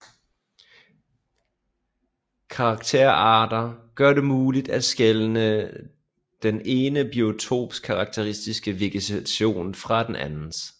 Karakterarter gør det muligt at skelne den ene biotops karakteristiske vegetation fra den andens